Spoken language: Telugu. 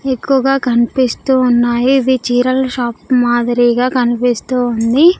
ఎక్కువగా కనిపిస్తూ ఉన్నాయి ఇవి చీరల షాప్ మాదిరిగా కనిపిస్తూ ఉంది.